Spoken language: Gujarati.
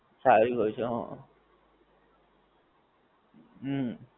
સારી હોએ છે હા હમ